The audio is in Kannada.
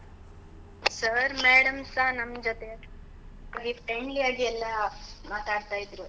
Sir, madam ಸ ನಮ್ಮ್ ಜೊತೆ friendly ಆಗಿ ಎಲ್ಲ ಮಾತಾಡ್ತಾ ಇದ್ರು.